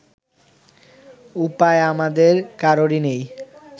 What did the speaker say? উপায় আমাদের কারোরই নেই